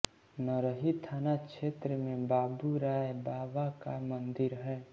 नरही थाना क्षेत्र में बाबू राय बाबा का मंदिर है